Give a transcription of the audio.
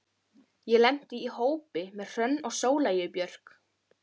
Ég lenti í hópi með Hrönn og Sóleyju Björk.